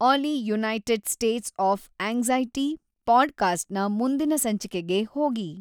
ಆಲಿ United States of anxiety ಪಾಡ್‌ಕ್ಯಾಸ್ಟ್‌ನ ಮುಂದಿನ ಸಂಚಿಕೆಗೆ ಹೋಗಿ